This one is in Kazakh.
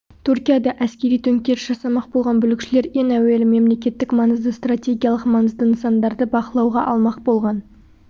түркияда әскери төңкеріс жасамақ болған бүлікшілер ең әуелі мемлекеттік маңызды стратегиялық маңызды нысандарды бақылауға алмақ болған